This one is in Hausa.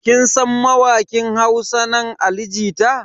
Kin san mawakin Hausa nan Ali jita?